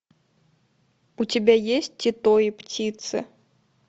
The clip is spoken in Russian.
у тебя есть тито и птицы